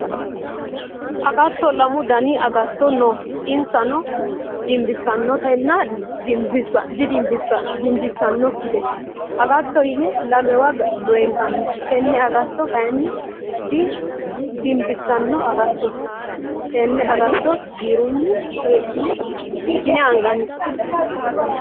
Agatto lamu danni agatto no insano dimbisanotanna dimbisanoki agatto yinne lamewa benkanni tinni agatto kayinni dinbisano agattooti tenne agatto birunni hidhine anganni.